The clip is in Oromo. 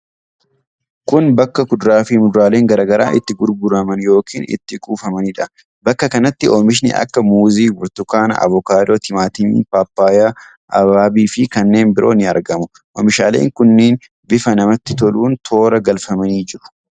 Kun bakka kuduraa fi muduraaleen garaa garaa itti gurguraman yookiin itti kuufamaniidha. Bakka kanatti oomishni akka muuzii, burtukaana, avokaadoo, timaatimii, paappayyaa, abaabii fi kannee biroo ni argamu. Oomishaaleen kunneen bifa namatti toluun toora galfamanii jiru.